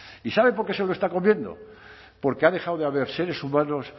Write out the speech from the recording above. y sabe por qué se lo está comiendo porque ha dejado de haber seres humanos